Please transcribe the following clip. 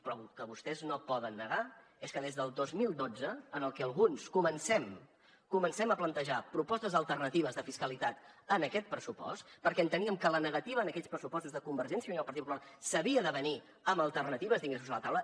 però el que vostès no poden negar és que des del dos mil dotze en el que alguns comencem a plantejar propostes alternatives de fiscalitat a aquest pressupost perquè enteníem que la negativa a aquests pressupostos de convergència i unió i el partit popular s’havia d’avenir amb alternatives d’ingressos a la taula